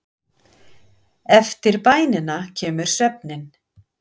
Eftir bænina kemur svefninn.